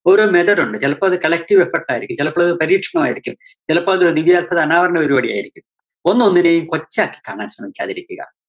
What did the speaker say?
ഓരോ method ഉണ്ട്. ചെലപ്പോ അത് collective ള്‍പ്പെട്ടതായിരിക്കും ചെലപ്പോ അത് പരീക്ഷണമായിരിക്കും. ചെലപ്പോ അത് അനാവരണ പരിപാടിയായിരിക്കും. ഒന്നോന്നിനെയും കൊച്ചാക്കി കാണാന്‍ ശ്രമിക്കാതിരിക്കുക.